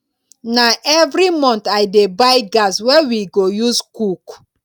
na every month i dey buy gas wey we go use cook